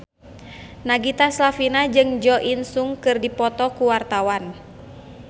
Nagita Slavina jeung Jo In Sung keur dipoto ku wartawan